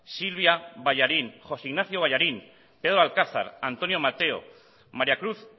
silvia ballarín josé ignacio ballarín pedro alcázar antonio mateo maria cruz